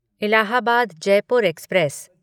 Allahabad Jaipur express